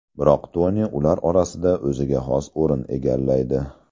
Biroq Toni ular orasida o‘ziga xos o‘rin egallaydi.